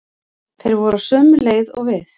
Þeir voru á sömu leið og við.